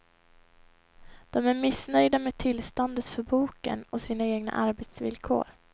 De är missnöjda med tillståndet för boken och sina egna arbetsvillkor.